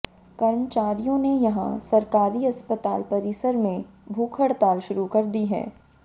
कर्मचारियों ने यहां सरकारी अस्पताल परिसर में भूख हड़ताल शुरू कर दी है